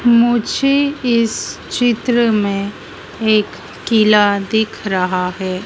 मुझे इस चित्र में एक किला दिख रहा है।